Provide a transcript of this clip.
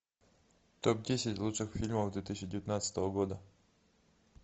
топ десять лучших фильмов две тысячи девятнадцатого года